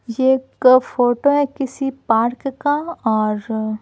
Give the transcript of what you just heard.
ये एक फोटो है किसी पार्क का और--